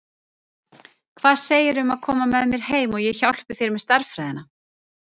Hvað segirðu um að koma með mér heim og ég hjálpi þér með stærðfræðina?